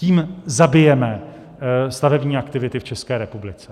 Tím zabijeme stavební aktivity v České republice.